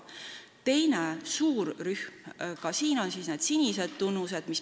Teine suur rühm on tähistatud sinisega.